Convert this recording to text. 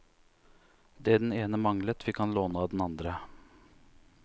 Det den ene manglet, fikk han låne av andre.